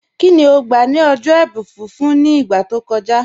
Kíni ó gbà lórí ọ̀jọ́ ẹ̀bùn fífún ní ìgbà tó kọ̀jà?